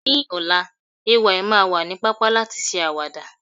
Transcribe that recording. ní ọlá, Ay ma wa ni papa lati ṣe awada